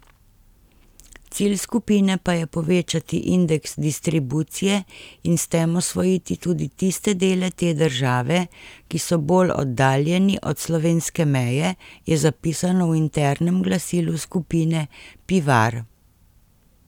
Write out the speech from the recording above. Cilj skupine pa je povečati indeks distribucije in s tem osvojiti tudi tiste dele te države, ki so bolj oddaljeni od slovenske meje, je zapisano v internem glasilu skupine Pivar.